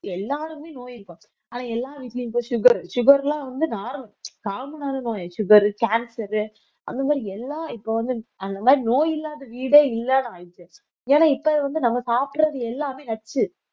எல்லாருமே நோய் இருக்கும் ஆனா எல்லார் வீட்லயும் இப்ப sugar sugar எல்லாம் வந்து common ஆ இருக்கும் sugar, cancer அந்த மாதிரி எல்லாம் இப்ப வந்து அந்த மாரி நோய் இல்லாத வீடே இல்லாத ஆயிடுச்சு ஏன் இப்ப வந்து நம்ம சாப்பிடறது எல்லாமே நச்சு